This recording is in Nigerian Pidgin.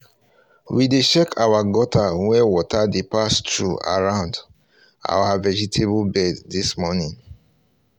we dey check our gutter um wey water dey pass through around um our vegetable bed this morning